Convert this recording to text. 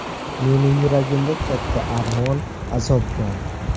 Meni yuragimda katta armon, azob bor.